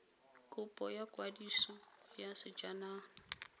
kopo ya kwadiso ya sejanaga